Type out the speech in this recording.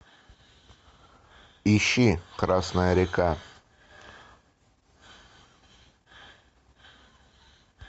ищи красная река